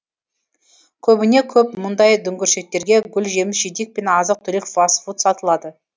көбіне көп мұндай дүңгіршектерге гүл жеміс жидек пен азық түлік фаст фуд сатылады